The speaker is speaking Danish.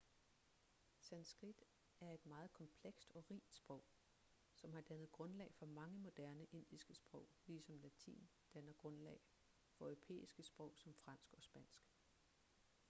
sanskrit er et meget komplekst og rigt sprog som har dannet grundlag for mange moderne indiske sprog ligesom latin danner grundlag for europæiske sprog som fransk og spansk